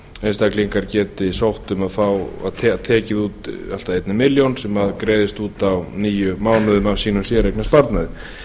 einstaklingar geti sótt um að fá og tekið út allt að ein milljón sem greiðist út á níu mánuðum af sínum séreignarsparnaði